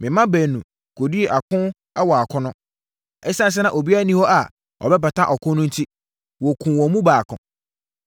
Me mma baanu kɔdii ako wɔ akono. Na ɛsiane sɛ na obiara nni hɔ a ɔbɛpata ɔko no enti, wɔkumm wɔn mu baako.